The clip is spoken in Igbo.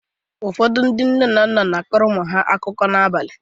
Ụfọdụ ndị nne na nna na-akọrọ ụmụ ha akụkọ n’abalị.